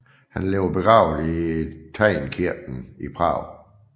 Han ligger begravet i Teynkirken i Prag